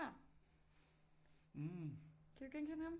Kan du genkende ham